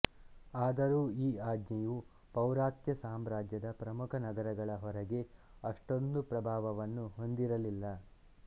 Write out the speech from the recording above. ಆದರೂ ಈ ಆಜ್ಞೆಯು ಪೌರಾತ್ಯ ಸಾಮ್ರಾಜ್ಯದ ಪ್ರಮುಖ ನಗರಗಳ ಹೊರಗೆ ಅಷ್ಟೊಂದು ಪ್ರಭಾವವನ್ನು ಹೊಂದಿರಲಿಲ್ಲ